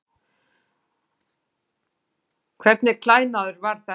Hvernig klæðnaður var þetta?